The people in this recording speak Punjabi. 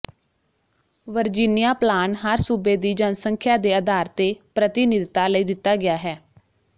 ਵਰਜੀਨੀਆ ਪਲਾਨ ਹਰ ਸੂਬੇ ਦੀ ਜਨਸੰਖਿਆ ਦੇ ਆਧਾਰ ਤੇ ਪ੍ਰਤੀਨਿਧਤਾ ਲਈ ਦਿੱਤਾ ਗਿਆ ਹੈ